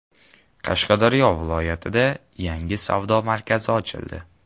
Qashqadaryo viloyatida yangi savdo markazi ochildi.